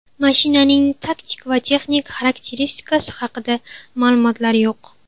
Mashinaning taktik va texnik xarakteristikasi haqida ma’lumotlar yo‘q.